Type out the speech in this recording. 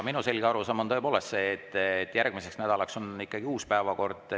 Minu selge arusaam on tõepoolest see, et järgmiseks nädalaks on ikkagi uus päevakord.